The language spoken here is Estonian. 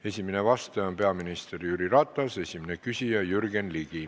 Esimene vastaja on peaminister Jüri Ratas, esimene küsija Jürgen Ligi.